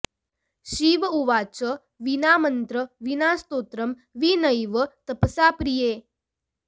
शिव उवाच विना मन्त्रविना स्तोत्रं विनैव तपसा प्रिये